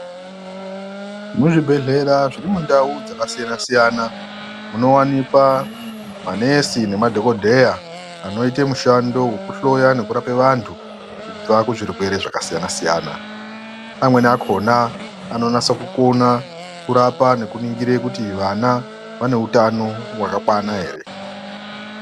Muzvibhehlera zvirimundau dzakasiyana-siyana munowanikwa manesi nemadhogodheya anoite mushando wokuhlloya nekurape vantu kubva kuzvirwere zvakasiyana-siyana. Amweni akona anonasa kukona kurapa nekuningire kuti vana vaneutano hwakakwana here.